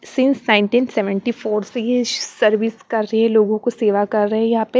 scenes nineteen seventy four से ये service कर रहे हैं लोगों को सेवा कर रहे हैं यहां पे--